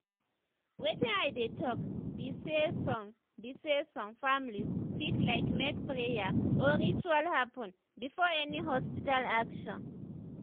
wetin i dey talk be saysome be saysome families fit like make prayer or ritual happen before any hospital action